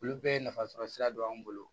Olu bɛɛ ye nafa sɔrɔ sira don an bolo